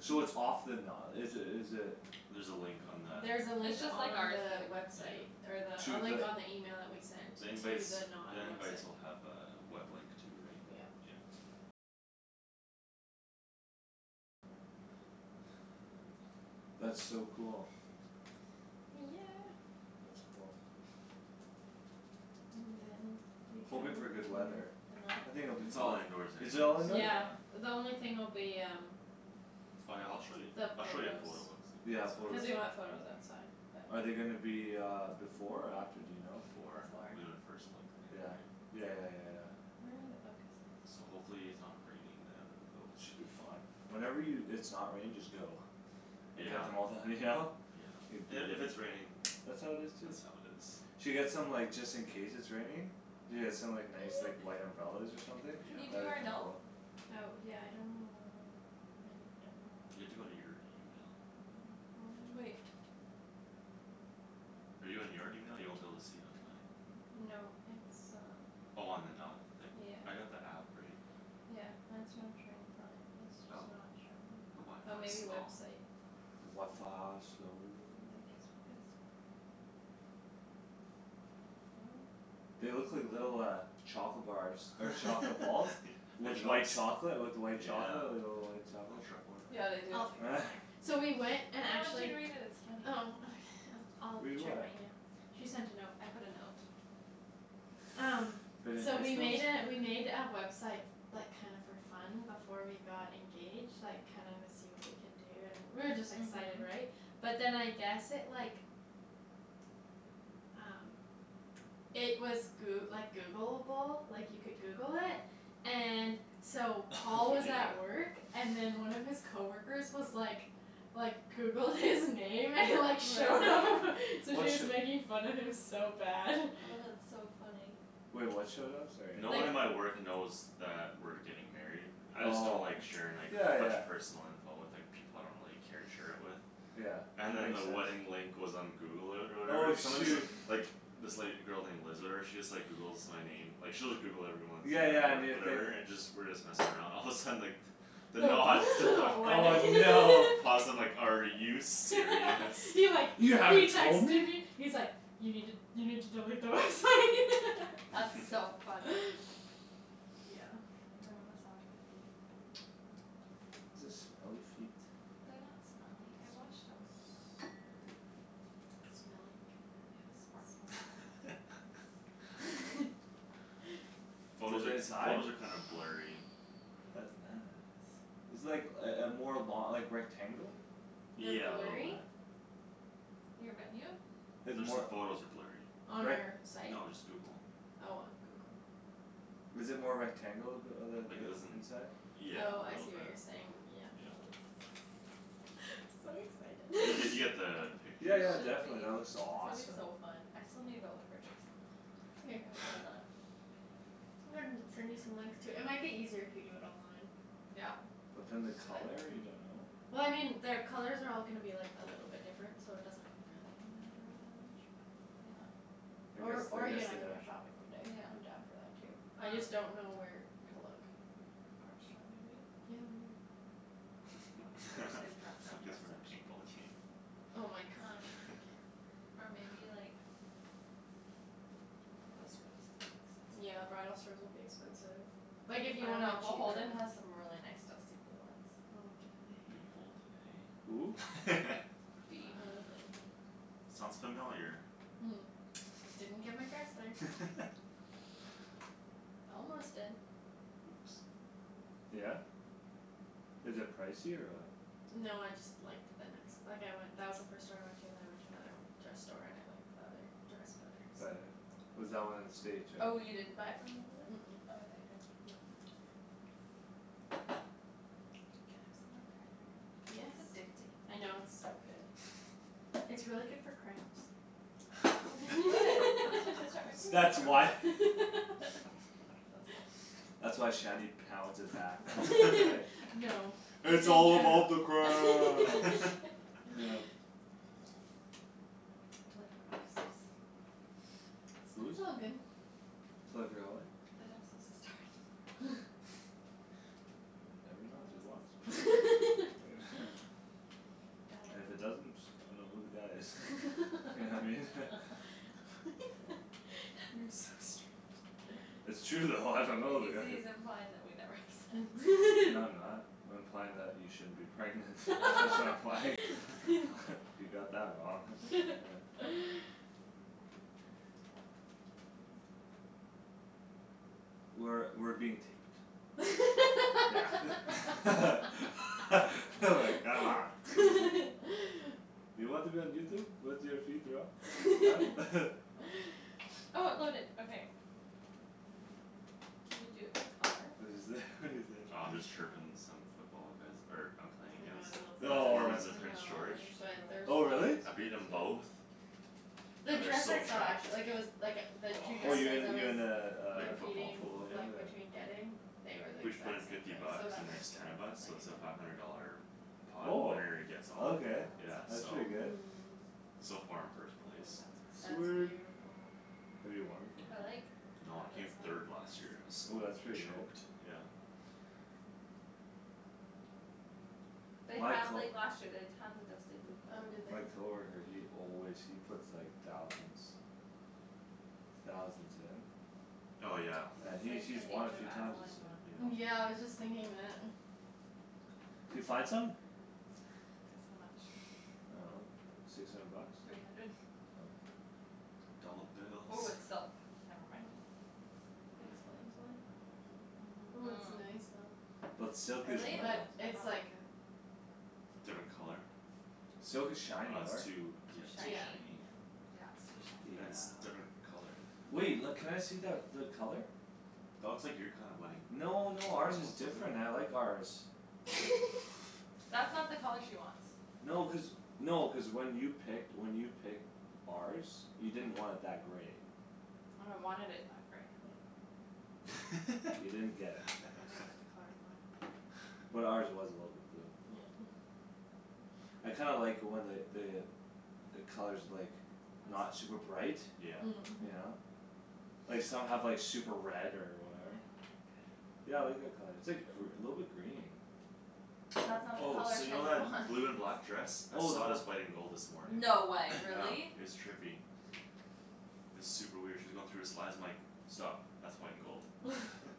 So it's off the na- is it, is it There's a link on that. There's a link It's just on like ours, the babe. website. Yeah. Or the, a To link the on the email that we sent. The To invites, the Knot the invites website. will have a web link too, right? Yeah. Yeah. That's so cool. Yeah. That's cool. And then we go Hoping for good weather. to The Knot? I think Can it'll be It's all fine. you indoors Is anyways, it all indoor? Yeah, yeah. the only thing will be um Oh, yeah, I'll show you, The I'll show you a photo photos. quickly Yeah, Cuz photos. we wanna have photos outside, Are but they gonna be uh before or after, do you know? Before. We're gonna Before. first look in the Yeah, night. yeah, yeah, yeah, yeah. Where are the, oh So guest list. hopefully it's not raining then but we We should should be be fine. fine. Whenever you, it's not raining just go. And get Yeah. the mo- the, you know? Say "Beat And if it." it's raining, That's that's how how it it is too. is. Should get some, like, just in case it's raining. Yeah, some, like, nice, like, white umbrellas or something. Can you do That'd be our kinda note? cool. Oh yeah, I don't know, I don't know You where have to my go to phone your email. My phone. Wait. Are you in your email? You won't be able to see it on mine. No, it's um Oh on The Knot. Like, Yeah. I got the app, right? Yeah, that's what I'm trying to find. It's Oh, just not showing. the Oh, maybe wifi's slow. website. The wifi slow. Then guestbook. Guestbook. No. They look like little uh Chocolate bars or chocolate balls. With White. white chocolate, with white chocolate, Yeah. like, little white Little chocolates. truffle in there. Yeah, they do. I'll figure it out later. So we went and No, I want you actually to read it, it's funny. Oh okay, I'll d- Read I'll check what? my email. She sent a note. I put a note. Um, Pretty so we nice note? made a, we made a website Like, kinda for fun before we got engaged. Like, kinda wanna see what we could do and we were just excited, Mhm. right? But then I guess it, like Um It was Goo- like Googleable, like, you could Google it And so Paul Oh, was yeah. at work And then one of his coworkers was like Like, Googled his name and like showed up Really? So What sh- just making fun of him so bad. Oh, that's so funny. Wait, what showed up? Sorry, No I one Like at my work knows that we're getting married. I just don't Oh, like sharing, like, yeah, a bunch yeah. of personal info with, like People I don't really care to share it with. Yeah, And then makes the sense. wedding link was on Google or, or Oh whatever. Someone's shoo- Like, this, like, girl named Liz or whatever she Just, like, Googles my name. Like, she'll just Google everyone When Yeah, we're at yeah, work new thing. whatever and just, we're just messing around, all of a sudden, like The Knot stuff Oh, Wedding no. Paused and like, "Are you serious?" He, like, he "You haven't told texted me?" me He's like, "You need to, you need to delete the website." That's so funny. Yeah. You wanna massage my feet? Is this smelly feet They're not smelly. I washed them when you're not home. Smelly feet. Smelly You know cat, sparkle a little smelly bit there. cat. Photos Is it are, inside? photos are kinda blurry. That's nice. It's, like, uh uh more lo- like, rectangle? They're Yeah, a little blurry? bit. Your venue? It's Just the more, photos are blurry. On like our site? No, just Google. Oh, on Google. Is it more rectangle? The uh Like the, the it isn't, inside? yeah, Oh, a I little see what bit. you're saying. Oh, Yeah. it's So You get, you get excited. the You picture Yeah, yeah, though. should definitely be. that looks It's gonna be awesome. so fun. I still need to go look for a dress. It's okay. I'm gonna send you some links too. It might be eaiser if you do it online. Yeah. But then the But color, you don't know? Well, I mean their colors are all gonna be like a little different so it doesn't really matter all that much, but Yeah. I guess, Or, I or you guess and I they can go are. shopping one day. Yeah, I'm I'm down down for for that that too. too. I just don't know where to look. Nordstrom maybe? Yeah, maybe. Um there's a dress, a You guys dress for another section. paintball game? Oh my gosh. Or maybe like Bridal store, that's gonna be expensive Yeah, though. bridal stores will be expensive. Like, if you Oh, want a no, cheaper Beholden one. has some really nice dusty blue ones. Oh, do they? Beholden, Who? hey? Uh Beholden. Sounds familiar. Didn't get my dress there. Almost did. Oops. Yeah? Is it pricey or what? No, I just liked the nex- like, I went, that was the first store I went To and then I went to another dress store and I liked The other dress better, so. Better? Was that one in the States, right? Oh, you Mhm. didn't buy it from Beholden? Mm- mm. Oh, I thought you did. No. Can I have some more Yes. cranberry? It's addicting. I know, it's so good. It's really good for cramps. Oh I'm supposed to start my Girls. period That's tomorrow. why. That's cool. That's why Shanny pounds it back then, eh? No. That's "It's what all I'm about the trying cramps!" to I'm totally forgot I was supposed to Whose? It's all good. Totally forgot, what? That I'm supposed to start tomorrow. Never Thomas's mind, And if it That was doesn't, I dunno who the guy is. You know what I mean? Oh. You're so strange. It's true though, I dunno who He's, the guy is. he's implying that we never have se- No, I'm not. I'm implying that you shouldn't be pregnant. That's what I'm implying. You got that wrong. Yeah. I guess. We're, we're being taped. Yeah like, come on. You want to be on Youtube? With your feet rub? Huh? Can you do it by color? What'd you say? What'd you say? Oh, I'm just chirping some football guys er I'm playing I know, against. I love The their Oh. foreman's in dresses so Prince George. much but they're Oh so really? I've beaten expensive. them both. The And they're dress so I saw trashed. actu- like, it was Like, the two Oh you dresses I in, you was in uh, In a a football football Competing, pool, pool? yeah. like, Yeah. between getting They were, like, We each put in exact same fifty price so bucks that and was there's ten good. of us Like, so I it's a didn't five have hundred to worry dollar about that. Pot Oh. winner-gets-all, That Okay, yeah, that's one's so. pretty fun though. good. Mhm. So far I'm first place. Ooh, that's That's pretty. Sweet. beautiful. Have you won before? I like No, I that came this third last year Oh, one that's has pretty good. choked, yeah. They My had, co- like, last year they'd tons of dusty blue Oh, did they? My color coworker, he always, he puts, like, thousands Thousands in. Oh, yeah. And That's he's, like he's the won a Age of few times, Adeline he said. one. Yeah. Yeah, I was just thinking that. D'you find something? Guess how much. I dunno, six hundred bucks? Three hundred. Oh. Dolla Oh, bills. it's silk. Oh, Never mind. that explains why. Ooh, it's nice though. But silk is Really? But nice. I it's don't like like it. So Different pricey. color? Silk is shiny, Oh, it's right? too, Too yeah, too Yeah, shiny. shiny. yeah. Yeah, it's too Yeah. And it's shiny. different color, the Wait. L- Yeah. can I see that, the color? That looks like your kind of wedding. No, no, ours is different, I like ours. That's not the color she wants. No, cuz, no, cuz when you picked, when you picked ours You didn't want it that grey. No, I wanted it that grey. Oh. You didn't get it. I didn't get the color I wanted. But ours was a little bit blue. Yeah. I kinda like when the, the The color's, like, not That's super bright. Yeah. Mm. You Mhm. know? Like some have, like, super red or I don't whatever. like it. Yeah, I like that color. It's Yeah. like gr- a little bit green. That's not the Oh, color so you know Shandryn that wants. blue and black dress? I Oh, then saw it wha- as white and gold this morning. No way, Yeah, really? it's trippy. It's super weird. She was going through her slides, I'm like "Stop, that's white and gold."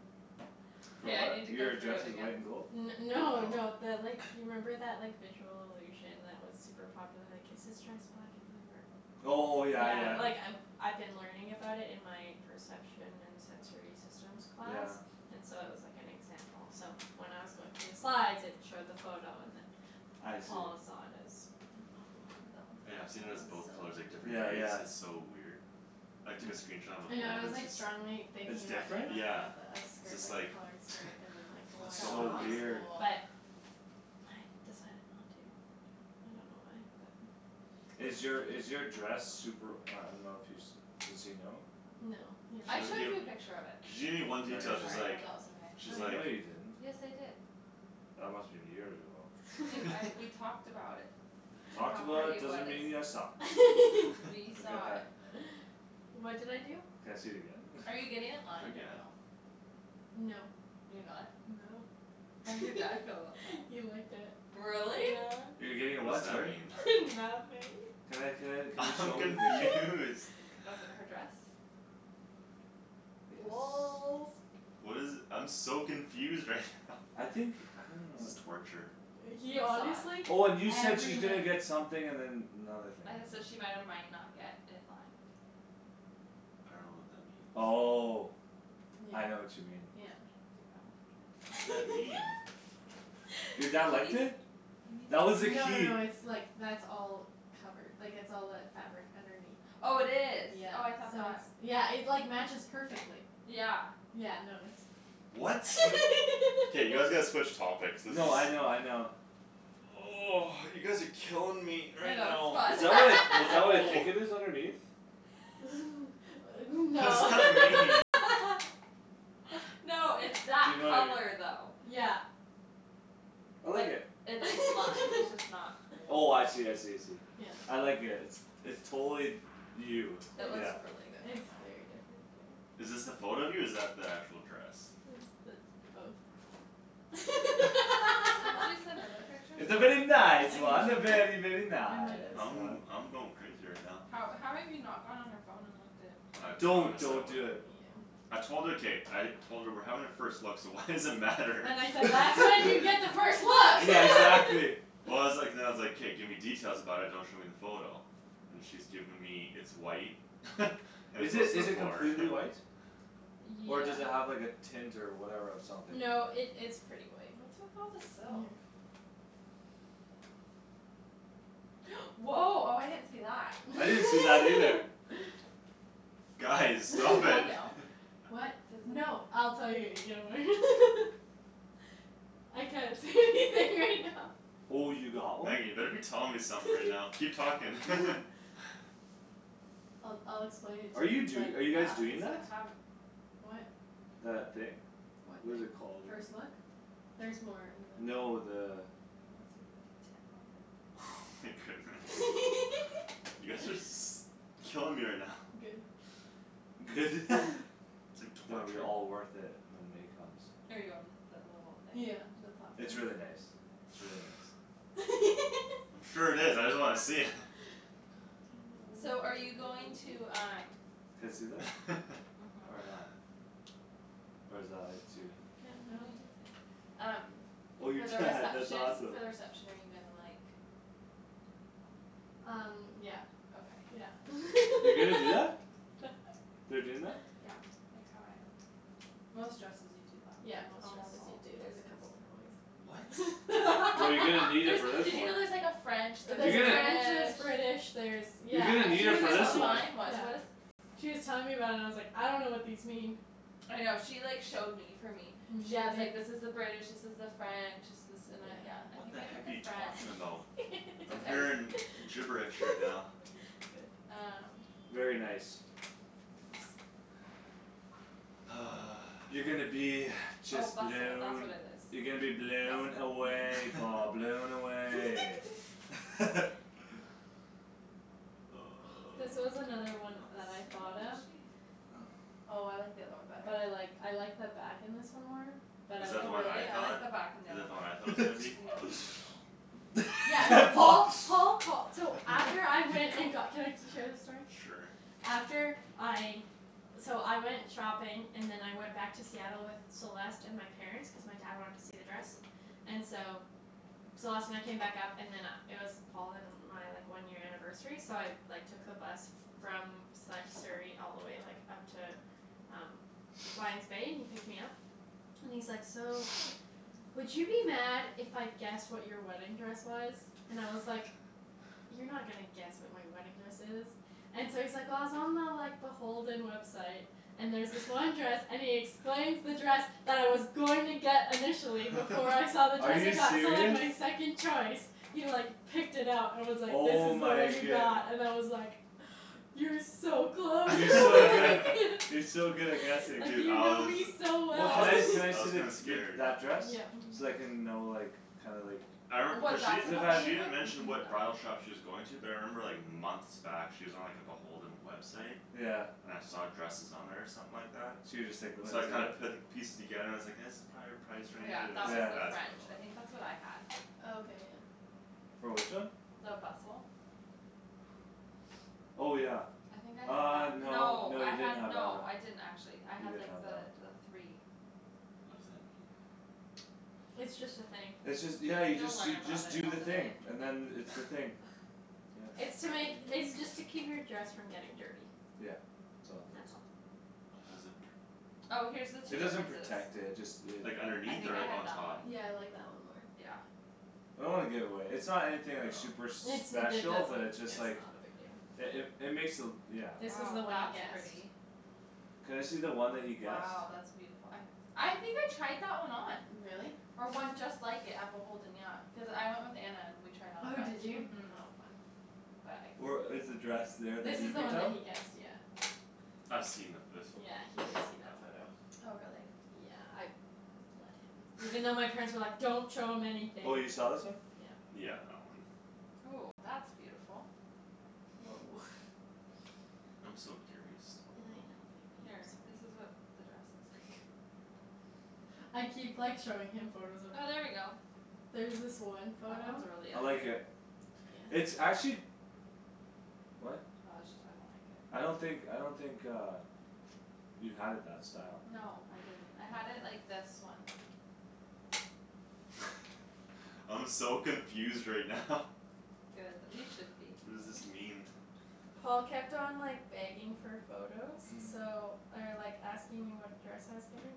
For K, I what? need to go Your through dress it is again. white and gold? N- no, no, No. the like You remember that, like, visual illusion That was super popular, like, is this dress black and blue or Oh, yeah, Yeah, yeah. like, Yeah. I I've been learning about it in my Perception and sensory systems class Yeah. And so it was, like, an example so When I was going through the slides it showed the photo and then I see. Paul saw it as That one's Yeah, kinda I've seen Fall, it as it's so both colors, like, different Yeah, cool. days. yeah. It's so weird. I took a Hmm. screenshot on my I know phone I was, and it's like, just strongly thinking It's about doing different? like one Yeah. of the It's skirt, just like a like, colored skirt and then, like "What's White That going So would on?" tops be weird. cool. but I decided not to. I don't know why, but Is your, is your dress Super, I dunno if he's, does he know? No, he She I hasn't doesn't showed give you seen a it. picture of it. She gave me one No, detail, Sorry, you she's I didn't. hope like that was okay. She's like No, you Like, didn't.. yes, I did. That must've been years ago. Babe, I, we talked about it. And Talked how about pretty it it was. doesn't mean you saw. We I'll get saw that. it. What did I do? Can I see it again then? Are you getting it I lined or forget. no? No. You're not? No. How did your dad feel about that? He liked it. Really? Yeah. You're getting it What's what, that sorry? mean? Nothing. Can I, can I, can you I'm show me the picture? confused. With her dress? Yes. Lolz. What is it, I'm so confused right now. I think, I don't This is know. torture. He He saw honestly it. Oh, and you said every she's gonna night get something and then another thing I had to said she might or might not get it lined. I dunno what that means. Oh, Yeah, Yeah, I know what you mean. yeah. yeah. You're gonna like it. What does that mean? Your dad liked it? That was No the no key. no, it's, like, that's all Covered. Like, it's all that fabric underneath. Oh, it is. Yeah, Oh, I thought so it's, that yeah, it, like, matches perfectly. Yeah. Yeah, no, it's What? K, you guys gotta switch topics. This is No, I know, I know. You guys are killing me I right know, it's now. Is fun. that what I, is that what I No. think it is underneath? What does No. that This mean? No, it's that You know i- color though. Yeah. I like But it. it, it's lime, it's just not Oh, I see, I see, I see. Yeah. I like it. It's, it's totally You. No, It it's looks Yeah. just, really good on it's you. very different, yeah. Is this the photo of you or is that the actual dress? It's the, both. Didn't you send other pictures? I It's a very I nice control one. can A very, very, In a nice nice I'm, one. way. I'm going crazy right now. How, how have you not gone on her phone and looked at I Don't, promised her I don't do Yeah. it. wouldn't. Yeah. I told her. K, I Told her we're having a first look so why does it matter? And I said, "That's when you get the first Yeah, look!" exactly. Well, I was like, then I was like, "K, give me details about it; don't show me the photo." And she's given me, "It's white." "And Is it's it, a" is it completely white? Yeah. Or does it have, like, a tint or whatever or something? No, it, it's pretty white. What's with all the silk? Mhm. Woah, oh, I didn't see that. I didn't see that either. Guys, Does it stop fall it. down? What, Does it no, I'll tell you Oh, you got one? Megan, you better be telling me something right now. Keep talking. I'll, I'll explain it Are to you you but do- are you guys doing that? What? That thing? What What thing? is it called, I First dunno. look? Theres more. And then No, the I wanna see the detail of it. Oh my goodness. You guys are s- killing me right now. Good. Good. It's like Gonna be torture. all worth it when May comes. Are you on the little thing? Yeah, the pot thing. It's really nice. It's really nice. Sure it is. I just wanna see it. I know So we're are you being very going mean. to um Can I see that? Or Mhm. not? Or is that, like, too Yeah, no. No, you can see it. Um Oh your For the dad, that's reception, for awesome. the reception are you gonna, like Um yeah, Okay. yeah. You're gonna do that? They're doing that? Yeah, like how I had mine. Most dresses you do that. Yeah, most Almost dresses do, all the dude; there's a dresses couple different What? ways. Well, you're gonna need it There's, for this did you one. know there's like a French You're There's a gonna French, There's there's British British, there's You're Yeah, gonna uh need she She it was was for this telling telling, one. mine was, yeah. what is She was telling me about it and I was like, "I dunno what these mean." I know. She like showed me for me. Yeah, Yeah, and she's they like, "This is the British, this is the French." "This is" and I, Yeah. yeah, I What think the I did heck are the you French. talking about? It's I'm okay. hearing gibberish right now. Good. Um Very nice. Thanks. You're gonna be Oh just bustle, that's what blown. it You're gonna be is. blown Bustle. away, Paul, blown away. This was another one So that I what thought was of. she? Oh I like the other one better. But I like, I like the back in this one more. But Is I that the one I Really? I thought? like like the the back on the Is other that the one I one. thought it was gonna be? No. Oh. Yeah, no, Paul Paul, Paul call- so After I He went and got, ca- can I share this story? Sure. After I So I went shopping And then I went back to Seattle with Celeste and my Parents, cuz my dad wanted to see the dress And so Celeste and I came back up and then uh it was Paul and uh my, like, one year anniversary so I Like, took the bus from Sa- Surrey all the way, like, up to Um Lion's Bay, and he picked me up And he's like, "So Would you be mad if I guessed what your wedding dress was?" And I was like "You're not gonna guess what my wedding dress is." And so he's like, "Well, I was on the, like, the Beholden website." "And there was this one dress," and he explains the dress That I was going to get initially before I saw the Are dress I you got, so, like, serious? my second choice. He, like, picked it up and was like, "This Oh is the one my you goodne- got" and I was like "You're so close." You're so good at, you're so good at guessing. Like, Dude, you I know was, me so Well, I can well. I, was, can I I see was the, kinda the, scared. that dress? Yeah. So I can know, like, kinda like I re- cuz she, she didn't mention Mm- what bridal mm. Oh. shop she was going to. But I remember, like, months back she was on, like, the Beholden website. Yeah. And I saw dresses on there or something like that So you just, like, went So I into kinda there? put pieces together and I was like "That's prolly our price Oh, range." yeah, And I that was was Yeah. like, the "That's French. probably the I one." think that's what I had. Oh, okay, yeah. For which one? The bustle. Oh, yeah. I think I had Uh, that. no, No, no, I you didn't had have that one. no I didn't actually. I You had, didn't like, have that one. the, the three. What does that mean? It's just a thing. It's just, yeah, you You'll just, learn you about just it do the on the thing day. and then it's the thing. Yep. It's to make, it's just to keep your dress from getting dirty. Yeah, it's all it does. That's all. How does it pr- Oh, here's the two It doesn't differences. protect it. Just it Like, I underneath think or I like, had on that one. top? Yeah, I like that one more. Yeah. I don't wanna give it away. It's not anything, like, No. super It's, it special but doesn't, it's just it's like not a big deal. It, it, it makes the, yeah. This was the Oh, one he that's guessed. pretty. Can I see the one that he guessed? Wow, that's beautiful. I I think I tried that one on. Really? Or one just like it at Beholden, yeah. Cuz I went with Anna and we tried on a Oh, bunch. did you? Mhm. Oh fun. But I Or couldn't fit is the in dress that one. there This that you is the picked one that out? he guessed, yeah. I've seen the, this one; Yeah, he she's did shown see me that that photo. one. Oh, really? Yeah, I let him. Even though my parents were like, "Don't show him anything." Oh, you saw this one? Yeah. Yeah, that one. Ooh, that's beautiful. Woah. I'm so curious still I though. know, baby, Here, I'm this is sorry. what the dress looks like. I keep, like, showing him photos of Oh, there we go. There's this one That one's photo really I like pretty. it. It's actually What? Oh, it just, I don't think it I don't think, I don't think uh You had it that style. No, I didn't. I had it like this one. I'm so confused right now. Good, you should be. What does this mean? Paul kept on, like, begging for photos so Or, like, asking me what dress I was getting.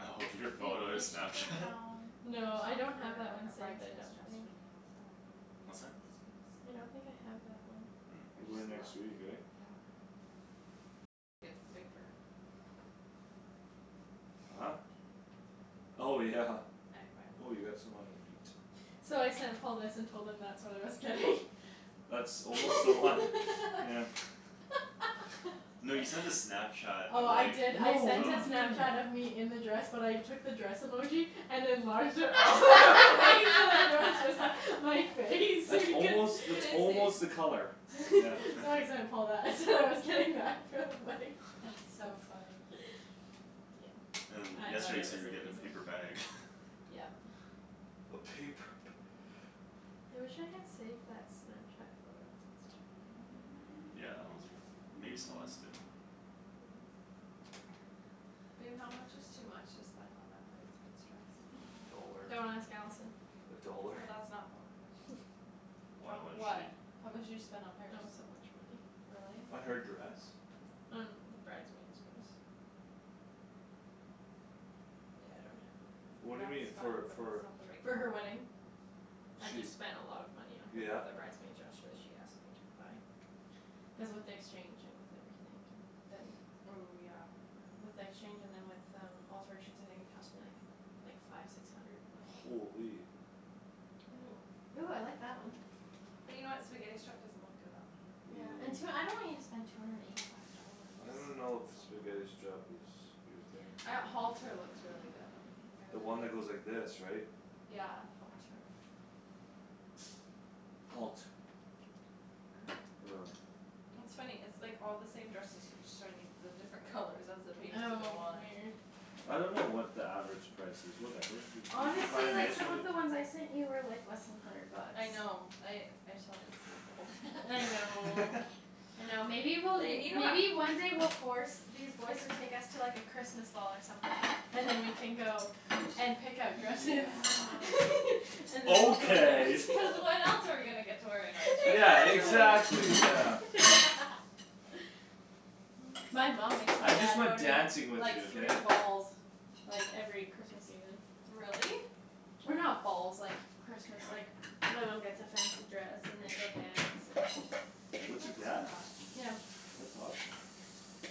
Oh, your Babe, photo we should go Snapchat? down We should No, I look don't have for that one a saved, I bridesmaid's don't dress think. for me on Saturday when we go down What's to that? the States. I don't think I have that one. Or We're going next week, just look. right? Yeah. If I get the paper. Huh? Oh, yeah. I'm, I Oh, will. you got some on your feet. So I sent Paul this and told him that's what I was getting. That's almost the one, yeah. No, you sent a Snapchat Oh, of, I like, did, I No, what're sent uh you a Snapchat of doing? me in the dress but I took the dress emoji And enlarged it all the way so that it was Just like my face so That's he can't almost, Can that's I almost see? the color. Yeah. So I sent Paul that and said I was getting that. So funny. That's so funny. Yeah, And I thought yesterday I you said was you a were getting a loser. paper bag. Yep. Okay, p- I wish I had saved that Snapchat photo. That's too bad. Yeah, that one's for, maybe Celeste did. Babe, how much is too much to spend on a bridesmaid's dress? A dollar. Don't ask Allison. A dollar. Oh, that's not, don't wanna click on. Why, How, what is she what? How much did you spend on It hers? was so much money. Really? Uh, her dress? On the bridesmaid's dress. Yeah, I don't have it. Ooh, What do you that's mean? For, fun but for that's not the right For her color. wedding. I She, just spent a lot of money on her, yeah? the bridesmaid dress so she asked me to buy. Cuz with the exchange and with everything and then Ooh, yeah. With the exchange and then with um alterations I think it cost me, like Like, five six hundred, like Holy. Ooh. Ooh, I like that one. But you know what, spaghetti strap doesn't look good on me. Yeah, and tw- I don't want you to spend two hundred and eighty five dollars. I don't It's know if spaghetti a lot. strap is your thing. I, halter looks really good on me. I The really one that like goes like this, right? Yeah, halter. Halt. Er Er. It's funny. It's like all the same dresses. It's just showing me the different colors as the pages Oh go on. weird. I don't know what the average price is, whatever. You, you, you find Honestly, a like, nice some one, you of the ones I sent you were, like, less than hundred bucks. I know I, I saw it, it's Beholden. I know. I know, maybe we'll, They, you know what maybe one day we'll force These boys to take us to, like, a Christmas ball or something. And then we can go and Easy. pick out dresses Yeah. And then we'll go Okay. dance. Cuz when else are we gonna get to wear a nice dress Yeah, outside Exactly. our wedding? exactly, yeah. My mom makes my I just dad go like to, dancing like, with you, like, okay? three balls. Like, every Christmas evening. Really? Or not balls, like, Christmas, like My mom gets a fancy dress and they go dance and Babe, What, your that's dad? enough. Yeah. That's awesome.